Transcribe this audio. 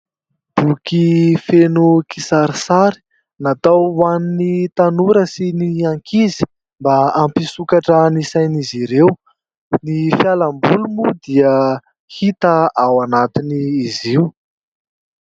Boky feno kisarisary, natao ho an'ny tanora sy ny ankizy mba hampisokatra ny sain'izy ireo ; ny fialamboly moa dia hita ao anatin'izy io.